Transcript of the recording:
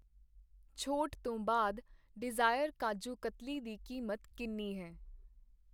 ਛੋਟ ਤੋਂ ਬਾਅਦ ਡਿਜ਼ਾਇਰ ਕਾਜੁ ਕਾਟਲੀ ਦੀ ਕੀਮਤ ਕਿੰਨੀ ਹੈ ?